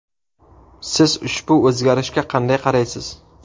Siz ushbu o‘zgarishga qanday qaraysiz?